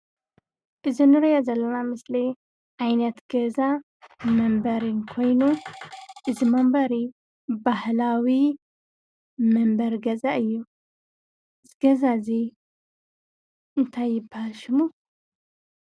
እዚ እንሪኦ ዘለና ምስሊ ዓይነት ገዛ መንበሪ ኮይኑ እዚ መንበሪ ባህላዊ መንበሪ ገዛ እዩ፡፡ እዚ ገዛ እዚ እንታይ ይባሃል ሽሙ?